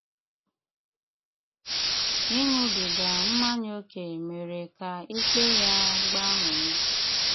Ị́ṅúbígá mmányá ókè mére ká ikpe yá gbánwé.